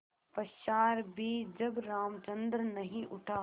पश्चार भी जब रामचंद्र नहीं उठा